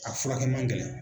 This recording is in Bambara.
A furakɛ man gɛlɛn.